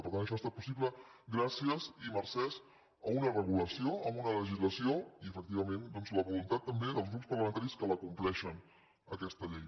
per tant això ha estat possible gràcies i mercès a una regulació a una le·gislació i efectivament doncs a la voluntat també dels grups parlamentaris que la compleixen aquesta llei